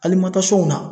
Hali matanw na